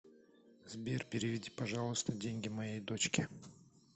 сбер переведи пожалуйста деньги моей дочке